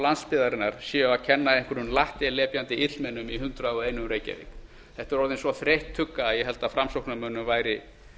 landsbyggðarinnar séu um að kenna einhverjum lattelepjandi illmennum í hundrað og einn reykjavík þetta er orðin svo þreytt tugga að ég held að framsóknarmönnum væri